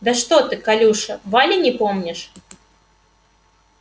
да ты что колюша вали не помнишь